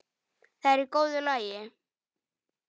Það er í góðu lagi.